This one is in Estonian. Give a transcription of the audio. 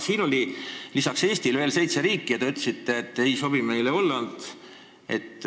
Siin tabelis on peale Eesti veel seitse riiki ja te ütlesite, et Hollandi mudel meile ei sobi.